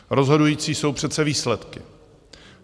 Rozhodující jsou přece výsledky.